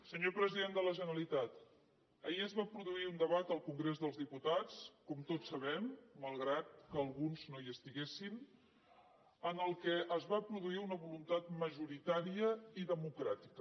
senyor president de la generalitat ahir es va produir un debat al congrés dels diputats com tots sabem malgrat que alguns no hi estiguessin en què es va produir una voluntat majoritària i democràtica